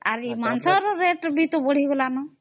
ଆଉ ମାଂସ ର rate ବି ବଢି ଗଲା ନ